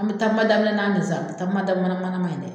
An bɛ ta